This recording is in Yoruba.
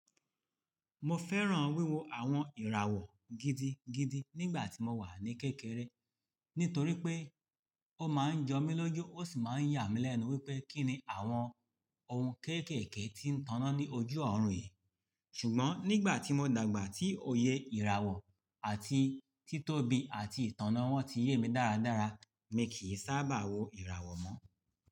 Mo fẹ́ràn wíwo àwọn ìràwọ̀ gidigidi nígbà tí mo wà ní kékeré, nítorí pé ó máa ń jọmílójú ó sì máa ń yà mí lẹ́nu wípé kí ni àwọn ohun kéékèèké tí ń tanná ní ojú ọ̀run yìí. Ṣùgbọ́n nígbà tí mo dàgbà tí òye ìràwọ̀ àti títóbi àti ìtanná wọn ti yé mi dáradára, mi kì í sábà wo ìràwọ̀ mọ́.